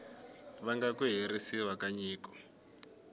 vanga ku herisiwa ka nyiko